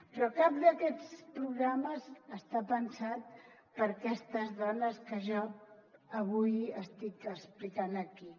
però cap d’aquests programes està pensat per a aquestes dones que jo avui estic explicant aquí